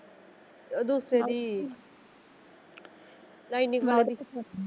ਉਹ ਦੂਸਰੇ ਦੀ ਲਾਈਨਿੰਗ .